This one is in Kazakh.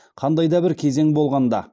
қандай да бір кезең болғанда